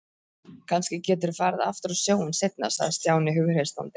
Kannski geturðu farið aftur á sjóinn seinna sagði Stjáni hughreystandi.